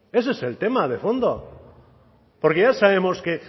ese es el tema de fondo porque ya sabemos que